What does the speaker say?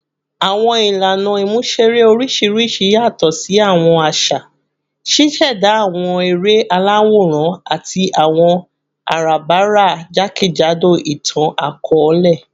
Awọn ilana imuṣere oriṣiriṣi yatọ si awọn aṣa, ṣiṣẹda awọn ere alaworan ati awọn arabara jakejado itan-akọọlẹ